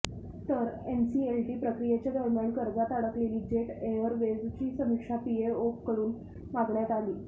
तर एनसीएलटी प्रक्रियेच्या दरम्यान कर्जात अडकलेली जेट एअरवेजची समीक्षा पीएओकडून मागण्यात आली